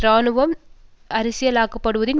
இராணுவம் அரசியலாக்கப்படுவதின்